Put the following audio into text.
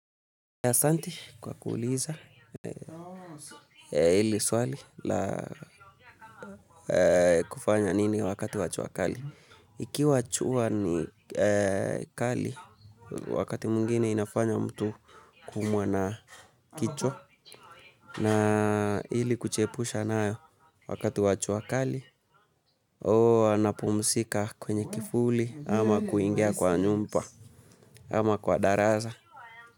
Asanti kwa kuuliza hili swali la kufanya nini wakati jua kali. Ikiwa nua ni kali wakati mwingine inafanya mtu kuumwa na kichwa na ili kujiepusha nayo wakati wa jua kali, huwa napumzika kwenye kivuli, ama kuingia kwa nyumba, ama kwa darasa.